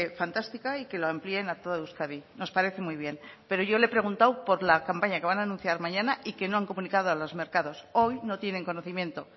fantástica y que lo amplíen a toda euskadi nos parece muy bien pero yo le he preguntado por la campaña que van a anunciar mañana y que no han comunicado a los mercados hoy no tienen conocimiento